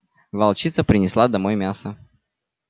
волчица принесла домой мясо